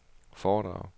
foredrag